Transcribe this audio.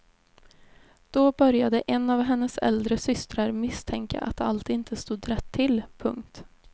Då började en av hennes äldre systrar misstänka att allt inte stod rätt till. punkt